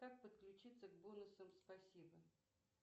как подключиться к бонусам спасибо